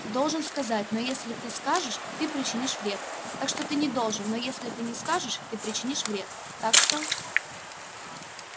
должен сказать но если ты скажешь ты причинишь вред так что ты не должен но если ты не скажешь ты причинишь вред так что